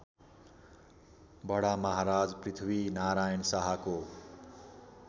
बडामहाराज पृथ्वीनारायण शाहको